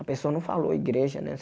A pessoa não falou igreja, né?